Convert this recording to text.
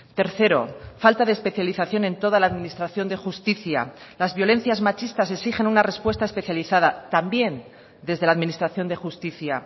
tercero falta de especialización en toda la administración de justicia las violencias machistas exigen una respuesta especializada también desde la administración de justicia